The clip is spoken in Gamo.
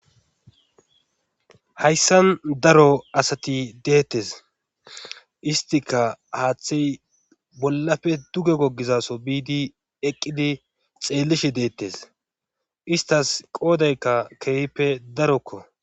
hayssan daro asati deettes istika haaththey bollafe duge gogizaso biidi eqqidi xeellishi deettes istas qoodaykka keehippe darokko